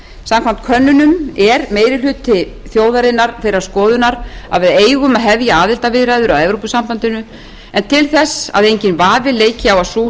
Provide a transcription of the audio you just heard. samkvæmt könnunum er meiri hluti þjóðarinnar þeirrar skoðunar að við eigum að hefja aðildarviðræður að evrópusambandinu en til þess að enginn vafi leiki á að sú